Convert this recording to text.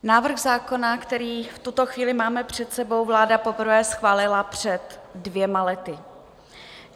Návrh zákona, který v tuto chvíli máme před sebou, vláda poprvé schválila před dvěma lety.